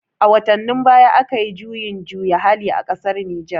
A watannin baya akayi juyin juya hali a ƙasar Nijer